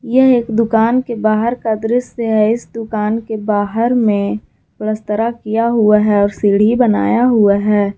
यह एक दुकान के बाहर का दृश्य है इस दुकान के बाहर में पलस्तरा किया हुआ है और सीढ़ी बनाया हुआ है।